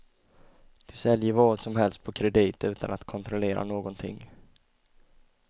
De säljer vad som helst på kredit utan att kontrollera någonting.